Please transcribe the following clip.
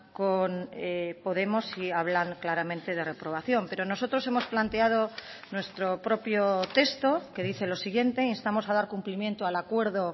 con podemos sí hablan claramente de reprobación pero nosotros hemos planteado nuestro propio texto que dice lo siguiente instamos a dar cumplimiento al acuerdo